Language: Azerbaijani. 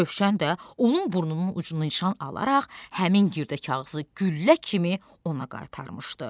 Rövşən də onun burnunun ucunu nişan alaraq həmin girdə kağızı güllə kimi ona qaytarmışdı.